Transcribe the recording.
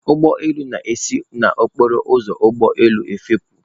Ụgbọ elu na-esi n'okporo ụzọ ụgbọ elu efepụ.